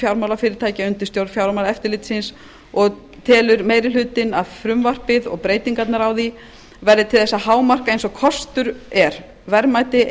fjármálafyrirtækja undir stjórn fjármálaeftirlitsins og telur meiri hlutinn að frumvarpið og breytingarnar á því verði til þess að hámarka eins og kostur er verðmæti